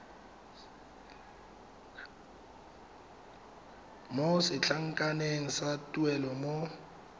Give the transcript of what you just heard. mo setlankaneng sa tuelo mo